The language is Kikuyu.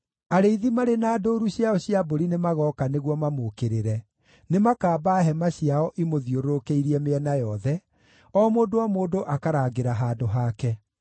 Arĩithi marĩ na ndũũru ciao cia mbũri nĩmagooka nĩguo mamũũkĩrĩre; nĩmakaamba hema ciao imũthiũrũrũkĩirie mĩena yothe, o mũndũ o mũndũ akarangĩra handũ hake.”